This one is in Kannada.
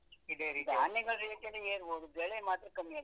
ಧಾನ್ಯಗಳ rate ಎಲ್ಲ ಏರ್ಬಹುದು ಬೆಳೆ ಮಾತ್ರ ಕಮ್ಮಿ ಆಗಿದೆ.